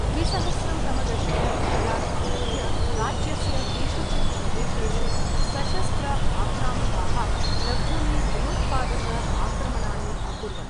द्विसहस्रं तमदशक मध्यात् आरभ्य राज्यस्य केषुचित् प्रदेशेषु सशस्त्र आक्रामकाः लघूनि भयोत्पादक आक्रमणानि अकुर्वन्।